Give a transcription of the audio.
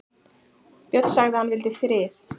Björn sagði að hann vildi frið.